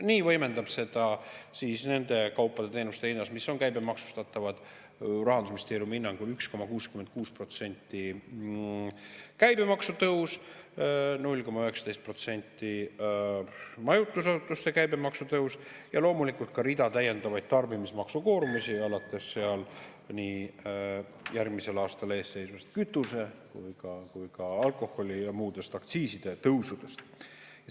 Nii võimendab seda Rahandusministeeriumi hinnangul 1,66% võrra – nende kaupade ja teenuste hinnas, mis on käibemaksustatavad – käibemaksu tõus, 0,19% võrra majutusasutuste käibemaksu tõus ja loomulikult ka rida täiendavaid tarbimismaksukoormusi, alates seal nii järgmisel aastal eesseisvast kütuseaktsiisi kui ka alkoholiaktsiisi ja muude aktsiiside tõusudest.